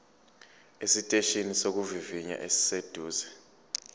esiteshini sokuvivinya esiseduze